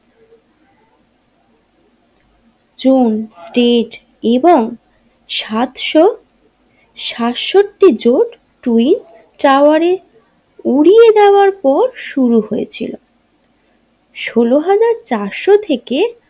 জন তেজ এবং সাতশো সাতষট্টি জোত্ টুই টাওয়ারে উড়িয়ে দেবার পর শুরু হয়েছিল সোলো হাজার চারশো থেকে।